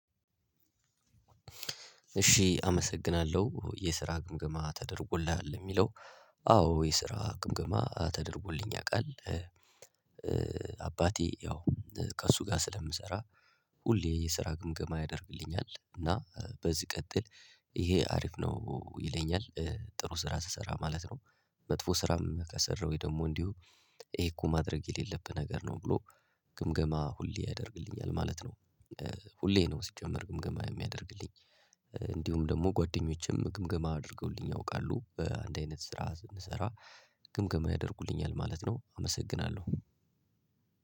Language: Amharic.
እሺ አመሰግናለሁ የስራ ግምግማ ተደርጎልሃል የሚለው? አዎ የስራ ግምገማ ተደርጎልኝ ያውቃል። አባቴ ያው ከእሱ ጋር ስለምሰራ ሁሌ የስራ ግምገማ ያደርግልኛል እና በዚህ ቀጥል ይሄ አሪፍ ነው ይለኛል። ጥሩ ስራ ስሰራ ማለት ነው። መጥፎ ስራም ከሰራሁኝ ደግሞ እንዲሁ ይሄ እኮ ማድረግ የሌለብህ ነገር ነው ብሎ። ግምገማ ሁሌ ያደርግልኛል ማለት ነው። ሁሌ ነው ሲጀመር ግምገማ የሚያደርግልኝ። እንዲሁም ደግሞ ጓደኞቼም ግምገማ አድርገውልኝ አውቃለሁ በአንድ አይነት ስራ ስንሰራ ግምገማ ያደርጉልኛል ማለት ነው። አመሰግናለሁ